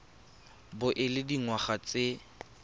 bo o le dingwaga tse